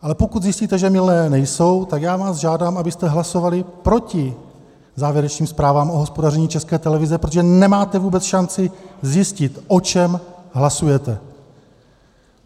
Ale pokud zjistíte, že mylné nejsou, tak já vás žádám, abyste hlasovali proti závěrečným zprávám o hospodaření České televize, protože nemáte vůbec šanci zjistit, o čem hlasujete.